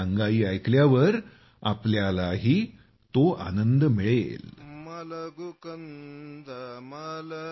ही अंगाई ऐकल्यावर तुम्हालाही तो आनंद मिळेल